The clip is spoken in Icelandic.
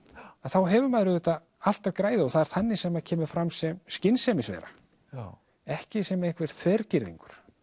þá hefur maður auðvitað allt að græða og það er þannig sem maður kemur fram sem skynsemisvera ekki sem einhver þvergirðingur